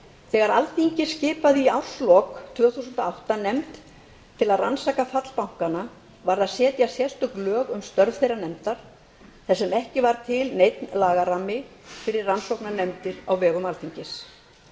þegar alþingi skipaði í árslok tvö þúsund og átta nefnd til að rannsaka fall bankanna varð að setja sérstök lög um störf þeirrar nefndar þar sem ekki var til neinn lagarammi fyrir rannsóknarnefndir á vegum alþingis